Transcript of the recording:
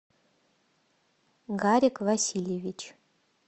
гарик васильевич